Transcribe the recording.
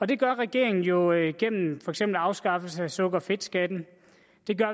det gør regeringen jo igennem for eksempel afskaffelse af sukker og fedtskatten det gør